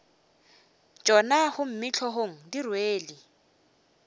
tšona gomme hlogong di rwele